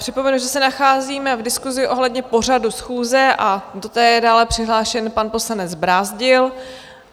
Připomenu, že se nacházíme v diskusi ohledně pořadu schůze a do té je dále přihlášen pan poslanec Brázdil.